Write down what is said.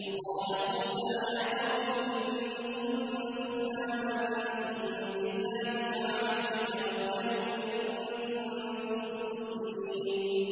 وَقَالَ مُوسَىٰ يَا قَوْمِ إِن كُنتُمْ آمَنتُم بِاللَّهِ فَعَلَيْهِ تَوَكَّلُوا إِن كُنتُم مُّسْلِمِينَ